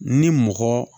Ni mɔgɔ